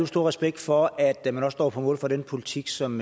stor respekt for at man også står på mål for den politik som